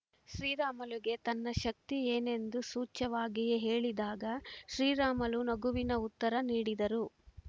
ಶ್ರೀರಾಮುಲುಗೆ ತನ್ನ ಶಕ್ತಿ ಏನೆಂದು ಸೂಚ್ಯವಾಗಿಯೇ ಹೇಳಿದಾಗ ಶ್ರೀರಾಮುಲು ನಗುವಿನ ಉತ್ತರ ನೀಡಿದರು